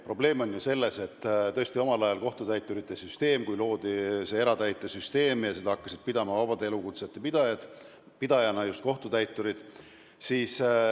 Probleem on ju selles, et omal ajal loodi kohtutäiturite süsteem eratäitesüsteemina ja seda ametit hakkasid vaba elukutse pidajana pidama just kohtutäiturid.